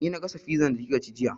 Ni na gasa fizar da kika ci jiya